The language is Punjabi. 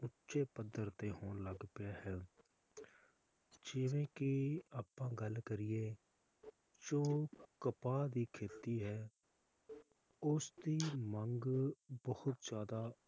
ਉੱਚੇ ਪੱਧਰ ਤੇ ਹੋਣ ਲੱਗ ਪੀਯਾ ਹੈ ਜਿਵੇ ਕਿ ਆਪਾਂ ਗੱਲ ਕਰੀਏ, ਜੇ ਕਪਾਹ ਦੀ ਖੇਤੀ ਹੈ ਉਸ ਦੀ ਮੰਗ ਬਹੁਤ ਜ਼ਯਾਦਾ